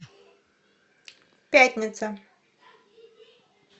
пятница